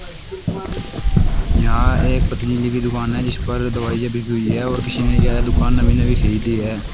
यहाँ एक पतंजलि की दुकान है जिस पर दवाईयां बिकी हुई है और किसी ने यह दुकान नवी नवी खरीदी है।